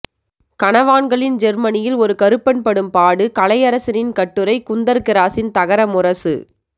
கனவான்களின் ஜெர்மனியில் ஒரு கருப்பன் படும் பாடு கலையரசனின் கட்டுரை குந்தர்கிராஸின் தகரமுரசு